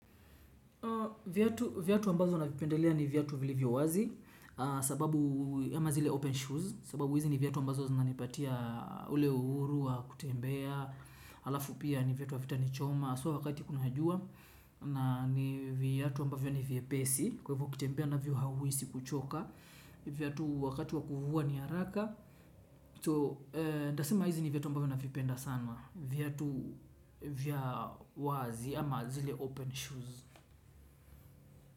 Viatu ambazo navipendelea ni viatu vilivyo wazi. Sababu ama zile open shoes sababu hizi ni viatu ambazo nanipatia ule uhuru wa kutembea halafu pia ni viatu havitanichoma So wakati kuna jua. Na ni viatu ambavyo ni vyepesi. Kwa hivyo kutembea navyo hauhisi kuchoka. Viatu wakati wa kuvua ni haraka So nitasema hizi ni viatu ambavyo navipenda sana. Viatu vya wazi ama zile open shoes.